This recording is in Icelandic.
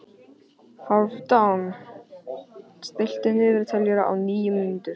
Hálfdan, stilltu niðurteljara á níu mínútur.